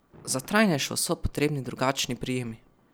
Za trajnejšo so potrebni drugačni prijemi.